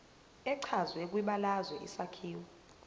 echazwe kwibalazwe isakhiwo